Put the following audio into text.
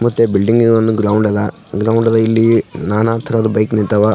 ಮತ್ತೆ ಬಿಲ್ಡಿಂಗ್ ಗೆ ಒಂದು ಗ್ರೌಂಡ್ ಅದ ಇಲ್ಲಿ ನಾನಾ ತರಹದ ಬೈಕ್ ನಿಂತವ --